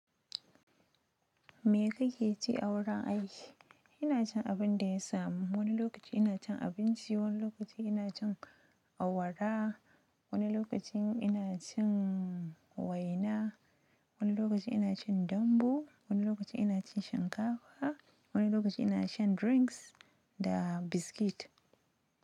Me kake ci a wurin aiki? Ina cin abin da ya samu. Wani lokaci ina cin abinci, wani lokaci ina cin awara, wani lokacin ina cin waina, wani lokaci ina cin dambu, wani lokaci ina cin shinkafa, wani lokaci ina shan drinks da biskit.